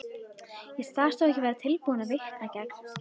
Ég sagðist þó ekki vera tilbúin að vitna gegn